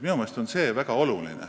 Minu meelest on see väga oluline.